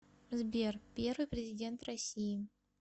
сбер первый президент россии